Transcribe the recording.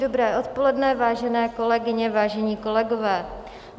Dobré odpoledne, vážené kolegyně, vážení kolegové.